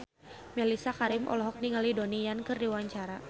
Mellisa Karim olohok ningali Donnie Yan keur diwawancara